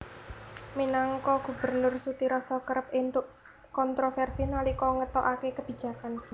Minangka gubernur Sutiroso kerep entuk kontroversi nalika ngetokake kebijakan